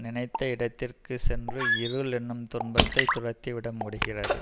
நினைத்த இடத்திற்க்குச் சென்று இருள் என்னும் துன்பத்தை துரத்தி விட முடிகிறது